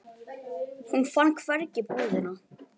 Hún fann hvergi búðina.